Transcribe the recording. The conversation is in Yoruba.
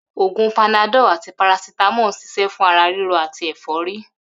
Ògún Panadol àti paracetamol ń s̩is̩é̩ fún ara ríro àti è̩fó̩rí